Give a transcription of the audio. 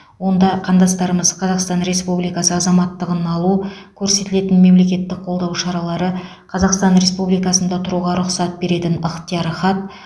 онда қандастарымыз қазақстан республикасы азаматтығын алу көрсетілетін мемлекеттік қолдау шаралары қазақстан республикасында тұруға рұқсат беретін ықтияр хат